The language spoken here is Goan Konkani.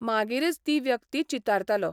मागीरच ती व्यक्ती चितारतालो.